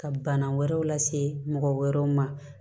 Ka bana wɛrɛw lase mɔgɔ wɛrɛw ma